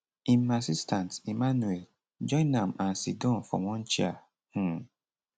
im assistant emmanuel join am and sidon for one chair um